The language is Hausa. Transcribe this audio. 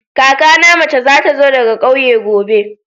Kakana na mace za ta zo daga kauye gobe.